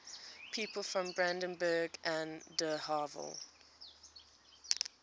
people from brandenburg an der havel